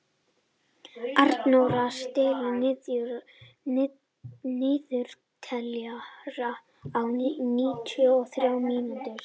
Arnóra, stilltu niðurteljara á níutíu og þrjár mínútur.